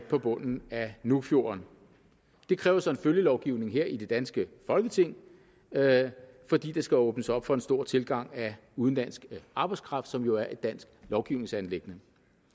på bunden af nuukfjorden det kræver så en følgelovgivning her i det danske folketing fordi der skal åbnes op for en stor tilgang af udenlandsk arbejdskraft som jo er et dansk lovgivningsanliggende